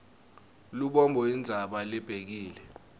lubombo intsaba lebekile